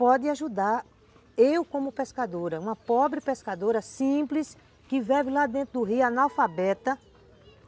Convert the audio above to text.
pode ajudar eu como pescadora, uma pobre pescadora, simples, que vive lá dentro do rio, analfabeta.